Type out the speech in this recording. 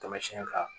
Taamasiyɛn kan